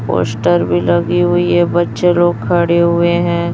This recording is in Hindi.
पोस्टर भी लगी हुई हैं बच्चे लोग खड़े हुए हैं।